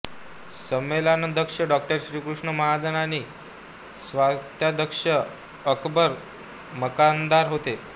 संमेलनाध्यक्ष डॉ श्रीकृष्ण महाजन आणि स्वागताध्यक्ष अकबर मकानदार होते